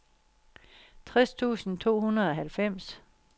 tres tusind to hundrede og halvfems